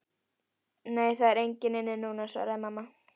Nei, það er engin inni núna, svaraði mamma.